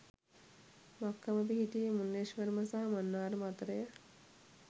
මක්කම පිහිටියේ මුන්නේශ්වරම සහ මන්නාරම අතරය.